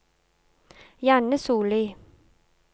Janne Sollie